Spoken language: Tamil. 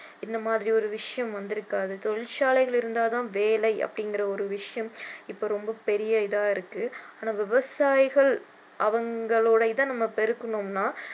இந்த மாதிரி ஒரு விஷயம் வந்து இருக்காது தொழிற்சாலைகள் இருந்தாதான் வேலை அப்படிங்கிற ஒரு விஷயம் இப்போ ரொம்ப பெரிய இதா இருக்கு ஆனா விவசாயிகள் அவங்களோட இதை நம்ம பெருக்கணும்னா